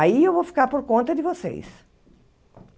Aí eu vou ficar por conta de vocês.